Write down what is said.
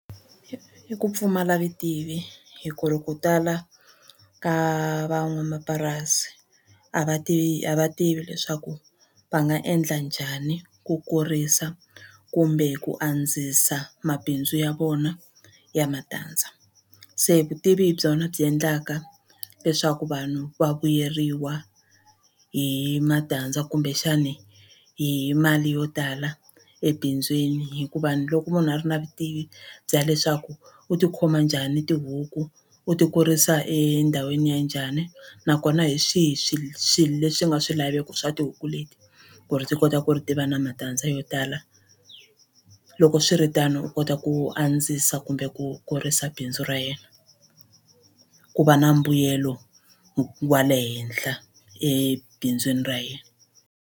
I ku pfumala vutivi hi ku ri ku tala ka van'wamapurasi a va tivi a va tivi leswaku va nga endla njhani ku kurisa kumbe ku andzisa mabindzu ya vona ya matandza se vutivi hi byona byi endlaka leswaku vanhu va vuyeriwa hi matandza kumbexani hi mali yo tala ebindzwini hikuva ni loko munhu a ri na vutivi bya leswaku u ti khoma njhani tihuku u ti kurisa endhawini ya njhani nakona hi swihi swilo leswi nga swilaveko swa tihuku leti ku ri ti kota ku ri tiva na matandza yo tala loko swi swiritano u kota u andzisa kumbe ku kurisa bindzu ra yena ku va na mbuyelo wa le henhla ebindzwini ra yena.